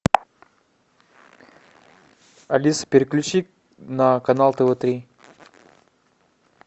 алиса переключи на канал тв три